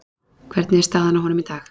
Hvernig er staðan á honum í dag?